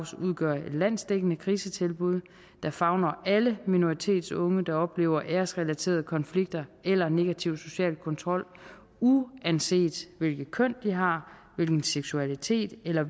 udgør et landsdækkende krisetilbud der favner alle minoritetsunge der oplever æresrelaterede konflikter eller negativ social kontrol uanset hvilket køn de har hvilken seksualitet eller